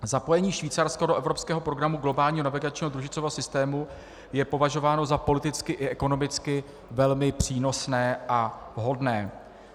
Zapojení Švýcarska do evropského programu globálního navigačního družicového systému je považováno za politicky i ekonomicky velmi přínosné a vhodné.